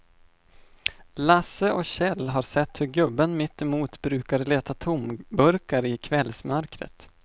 Lasse och Kjell har sett hur gubben mittemot brukar leta tomburkar i kvällsmörkret.